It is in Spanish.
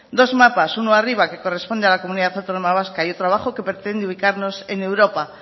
dos mapas uno arriba que corresponde a la comunidad autónoma vasca y otro abajo que pretende ubicarnos en europa